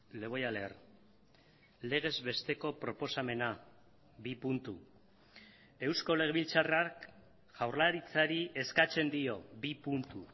le voy a leer legezbesteko proposamena bi puntu eusko legebiltzarrak jaurlaritzari eskatzen dio bi puntu